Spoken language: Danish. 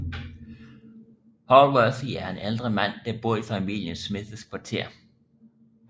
Hallworthy er en ældre mand der bor i familien Smiths kvarter